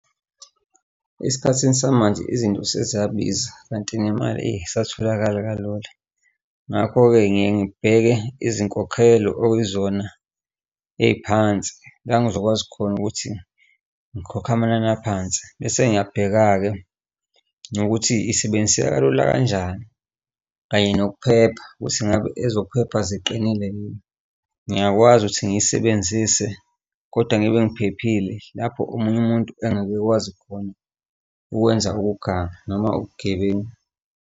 Esikhathini samanje izinto sezabiza kanti nemali, eyi, aysatholakali kalula. Ngakho-ke ngike ngibheke izinkokhelo okuyizona ey'phansi la ngizokwazi khona ukuthi ngikhokhe amanani aphansi bese ngiyabheka-ke nokuthi isebenziseka kalula kanjani kanye nokuphepha ukuthi ingabe ezokuphepha ziqinile yini, ngingakwazi ukuthi ngiyisebenzise kodwa ngibe ngiphephile lapho omunye umuntu engakwazi khona ukwenza ukuganga noma ubugebengu.